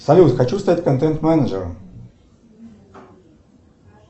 салют хочу стать контент менеджером